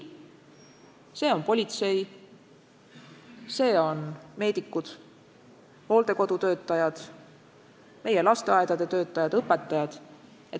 Ma mõtlen politseid, meedikuid, hooldekodude töötajaid, meie lasteaedade töötajaid ja õpetajaid.